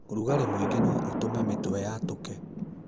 ũrugarĩ mũingĩ noũtũme mĩtwe yatũke.